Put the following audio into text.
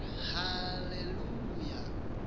haleluya